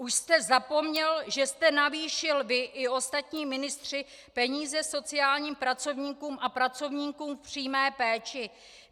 Už jste zapomněl, že jste navýšil, vy i ostatní ministři, peníze sociálním pracovníkům a pracovníkům v přímé péči?